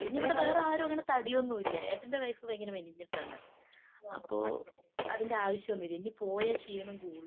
പിന്നിവിടെ വേറാരും അങ്ങനെ തടിയൊന്നും ഇല്ല. ഏട്ടന്റെ വൈഫ് ഭയങ്കര മെലിഞ്ഞിട്ടാണ്. അപ്പൊ അതിന്റെ ആവശ്യമൊന്നുമില്ല. ഇനി പോയാ ക്ഷീണം കൂടും.